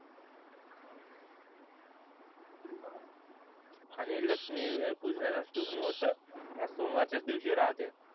आणि लक्ष्मी पूजनाचा शुभ मुहूर्त हा सोमवारचा च दिवशी राहते